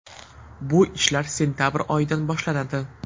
Bu ishlar sentabr oyidan boshlanadi”.